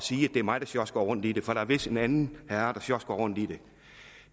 sige at det er mig der sjosker rundt i det for der er vist en anden herre der sjosker rundt i det